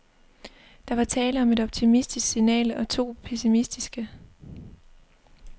Der var tale om et optimistisk signal og to pessimistiske.